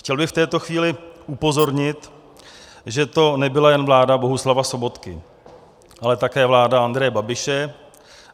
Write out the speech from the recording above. Chtěl bych v této chvíli upozornit, že to nebyla jen vláda Bohuslava Sobotky, ale také vláda Andreje Babiše.